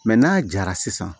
n'a jara sisan